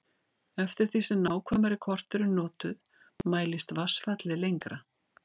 eftir því sem nákvæmari kort eru notuð mælist vatnsfallið lengra